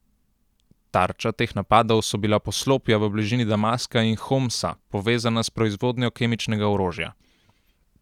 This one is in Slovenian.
Tarča teh napadov so bila poslopja v bližini Damaska in Homsa, povezana s proizvodnjo kemičnega orožja.